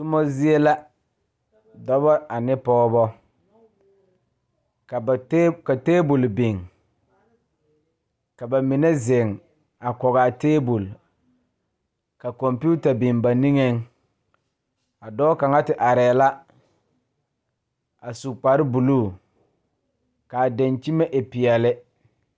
Toma zie la dɔba ane pɔgeba ka ba tab ka tabol biŋ ka ba mine zeŋ a kɔge a tabol ka kɔmpeta biŋ ba niŋeŋ a dɔɔ kaŋa te arɛɛ la a su kparebulu k,a dankyime e peɛle.